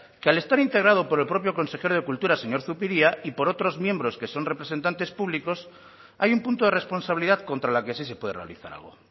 que al estar integrado por el propio consejero de cultura señor zupiria y por otros miembros que son representantes públicos hay un punto de responsabilidad contra la que sí se puede realizar algo